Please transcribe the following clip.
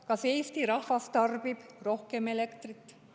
Kas Eesti rahvas tarbib rohkem elektrit?